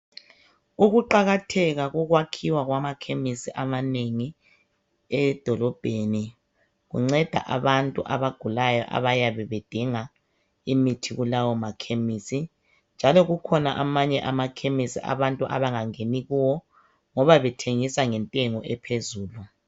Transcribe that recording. Ukuqakatheka kokwakhiwa kwamakhemisi amanengi edolobheni kunceda abantu abagulayo abayabe bedinga imithi kulawo makhemisi njalo kukhona amanye amakhemisi abantu abangangeni kuwo ngoba bethengisa ngentengo ephezulu.